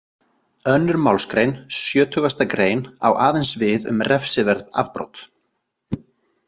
Önnur málsgrein sjötugasta grein á aðeins við um refsiverð afbrot.